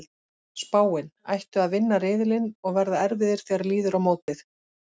Spáin: Ættu að vinna riðilinn og verða erfiðir þegar líður á mótið.